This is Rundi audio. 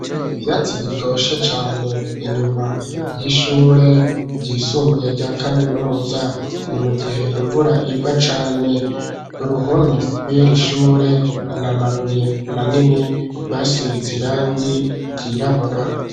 Ivyyatsi bitoshe cane inyuma y'ishure ryisumbuye rya kaminuza ni mu gihe imvura igwa cane uruhome kuri iri shure na mabuye manini basize irangi ryirabura.